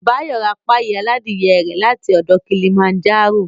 Báyọ̀ ra páyì aládìe rẹ̀ láti ọ̀dọ̀ Kilimanjaro